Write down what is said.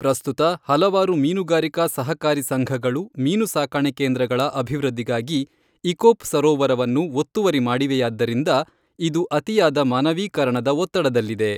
ಪ್ರಸ್ತುತ ಹಲವಾರು ಮೀನುಗಾರಿಕಾ ಸಹಕಾರಿ ಸಂಘಗಳು ಮೀನು ಸಾಕಣೆ ಕೇಂದ್ರಗಳ ಅಭಿವೃದ್ಧಿಗಾಗಿ ಇಕೊಪ್ ಸರೋವರವನ್ನು ಒತ್ತುವರಿ ಮಾಡಿವೆಯಾದ್ದರಿಂದ ಇದು ಅತಿಯಾದ ಮಾನವೀಕರಣದ ಒತ್ತಡಲ್ಲಿದೆ.